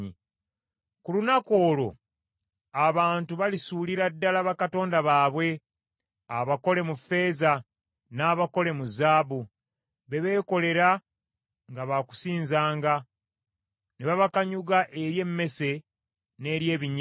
Ku lunaku olwo abantu balisuulira ddala bakatonda baabwe abakole mu ffeeza, n’abakole mu zaabu, be beekolera nga ba kusinzanga, ne babakanyuga eri emmese n’eri ebinyira.